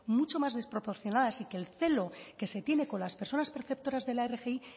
mucho más desproporcionadas y que el celo que se tiene con las personas preceptoras de la rgi